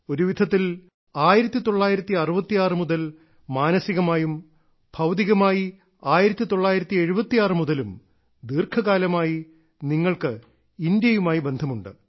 ഒരുവിധത്തിൽ 1966 മുതൽ മാനസികമായും ഭൌതികമായി 1976 മുതലും ദീർഘകാലമായി നിങ്ങൾക്ക് ഇന്ത്യയുമായി ബന്ധമുണ്ട്